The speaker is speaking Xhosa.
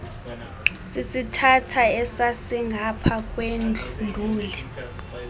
sisithatha esasingapha kwenduli